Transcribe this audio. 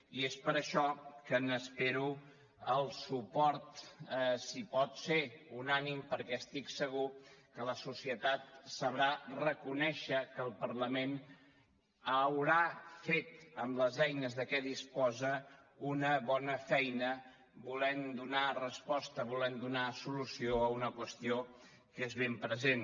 i és per això que n’espero el suport si pot ser unànime perquè estic segur que la societat sabrà reconèixer que el parlament haurà fet amb els eines de què disposa una bona feina volent donar resposta volent donar solució a una qüestió que és ben present